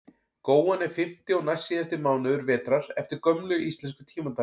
góan er fimmti og næstsíðasti mánuður vetrar eftir gömlu íslensku tímatali